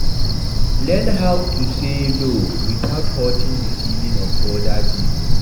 Learn how to sey no without hurting di feelings of oda pipo